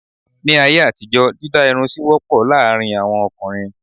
Ní ayé àtijó dídá irun sì wọ́pọ̀ láàárín àwọn ọkùnrin.